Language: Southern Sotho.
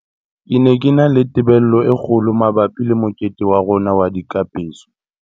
"Ke ne ke na le tebello e kgo lo mabapi le mokete wa rona wa dikapeso."